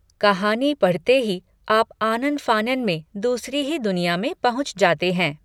कहानी पढ़़ते ही आप आनन फ़ानन में दूसरी ही दुनिया में पहुँच जाते हैं!